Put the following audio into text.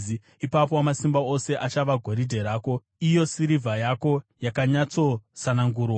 ipapo Wamasimba Ose achava goridhe rako, iyo sirivha yako yakanyatsosanangurwa.